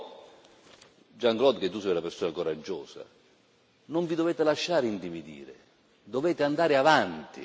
Lo so, Jean Claude, che tu sei una persona coraggiosa. Non vi dovete lasciare intimidire, dovete andare avanti.